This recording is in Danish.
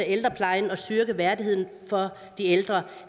ældreplejen og styrke værdigheden for de ældre